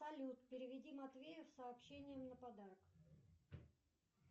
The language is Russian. салют переведи матвею с сообщением на подарок